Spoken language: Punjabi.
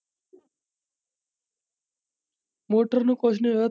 ਮੋਟਰ ਨੂੰ ਕੁੱਝ ਨੀ ਹੋਇਆ।